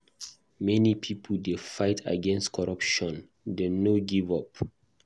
Many pipo dey fight against corruption; dem no go give up.